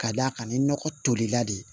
Ka d'a kan ni nɔgɔ tolila de